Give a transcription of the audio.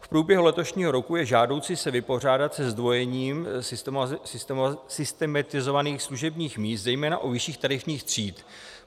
V průběhu letošního roku je žádoucí se vypořádat se zdvojením systematizovaných služebních míst zejména u vyšších tarifních tříd.